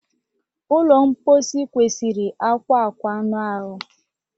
Ụlọ mposi kwesịrị akwa akwa anụ ahụ